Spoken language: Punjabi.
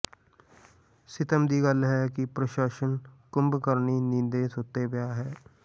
ਸਿੱਤਮ ਦੀ ਗੱਲ ਹੈ ਕਿ ਪ੍ਰਸ਼ਾਸਨ ਕੁੱਭਕਰਨੀ ਨੀਂਦੇ ਸੁੱਤਾ ਪਿਆ ਹੈ